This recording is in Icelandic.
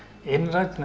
einrænn